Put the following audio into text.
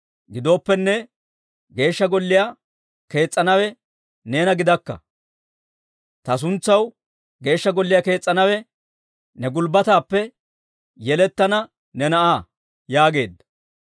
Gidooppenne, Geeshsha Golliyaa kees's'anawe neena gidakka; ta suntsaw Geeshsha Golliyaa kees's'anawe ne gulbbataappe yelettana ne na'aa› yaageedda.